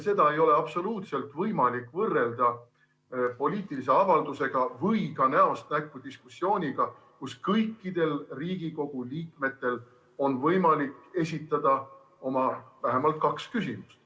Seda ei ole absoluutselt võimalik võrrelda poliitilise avaldusega või ka näost näkku diskussiooniga, kus kõikidel Riigikogu liikmetel on võimalik esitada vähemalt kaks küsimust.